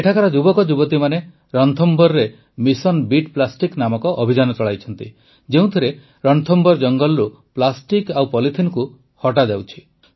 ଏଠାକାର ଯୁବକଯୁବତୀମାନେ ରଣଥମ୍ଭୋରରେ ମିଶନ ବିଟ୍ ପ୍ଲାଷ୍ଟିକ୍ ନାମକ ଅଭିଯାନ ଚଳାଇଛନ୍ତି ଯେଉଁଥିରେ ରଣଥମ୍ଭୋର ଜଙ୍ଗଲରୁ ପ୍ଲାଷ୍ଟିକ୍ ଓ ପଲିଥିନକୁ ହଟାଯାଉଛି